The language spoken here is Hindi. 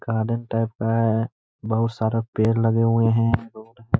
गार्डन टाइप का है। बहोत सारे पेड़ लगे हुए हैं। रोड है।